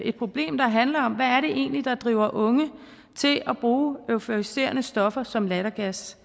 et problem der handler om hvad det egentlig er der driver unge til at bruge euforiserende stoffer som lattergas